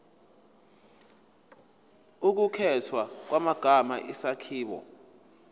ukukhethwa kwamagama isakhiwo